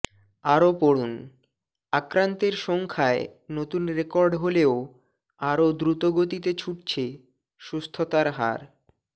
আরও পড়ুন আক্রান্তের সংখ্যায় নতুন রেকর্ড হলেও আরও দ্রুত গতিতে ছুটছে সুস্থতার হার